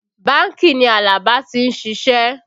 Bánkì ni Alaba ti ń ṣiṣẹ́